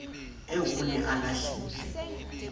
eo o ne a lahlile